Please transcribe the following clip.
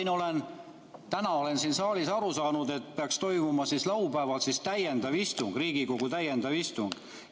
Nagu olen täna siin saalis aru saanud, peaks laupäeval toimuma täiendav istung, Riigikogu täiendav istung.